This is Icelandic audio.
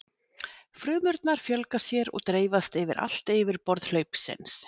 Frumurnar fjölga sér og dreifast yfir allt yfirborð hlaupsins.